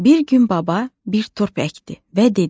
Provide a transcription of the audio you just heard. Bir gün baba bir turp əkdi və dedi: